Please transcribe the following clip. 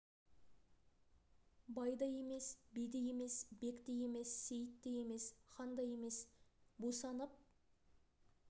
бай да емес би де емес бек те емес сейіт те емес хан да емес бусанып